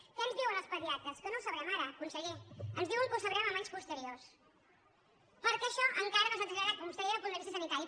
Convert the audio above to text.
què ens diuen els pedia·tres que no ho sabrem ara conseller ens diuen que ho sabrem en anys posteriors perquè això encara no s’ha traslladat com vostè deia al punt de vista sani·tari